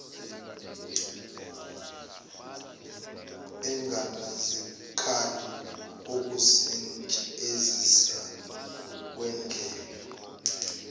engenazikhali ukusentshenzisa kwendlela